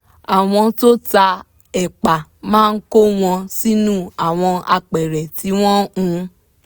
àwọn tó ta ẹ̀pà máa kó wọn sínú àwọn apẹ̀rẹ̀ tí wọ́n hun